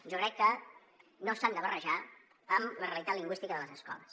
jo crec que no s’han de barrejar amb la realitat lingüística de les escoles